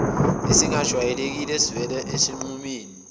esingejwayelekile esivele esinqumeni